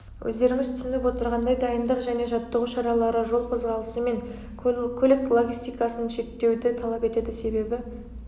өздеріңіз түсініп отырғандай дайындық және жаттығу шаралары жол қозғалысы мен көлік логистикасын шектеуді талап етеді себебі